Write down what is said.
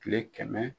Kile kɛmɛ